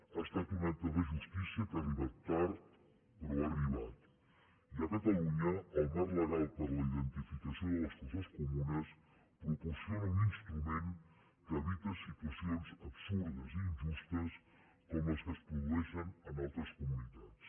ha estat un acte de justícia que ha arribat tard però ha arribat i a catalunya el marc legal per a la identificació de les fosses comunes proporciona un instrument que evita situacions absurdes i injustes com les que es produeixen en altres comunitats